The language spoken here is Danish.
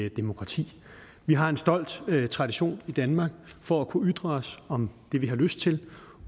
et demokrati vi har en stolt tradition i danmark for at kunne ytre os om det vi har lyst til